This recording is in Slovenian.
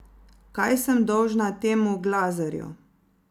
Kaj sem dolžna temu Glazerju?